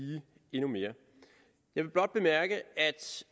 endnu mere jeg vil blot bemærke at